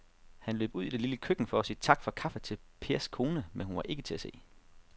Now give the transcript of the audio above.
Han løb ud i det lille køkken for at sige tak for kaffe til Pers kone, men hun var ikke til at se.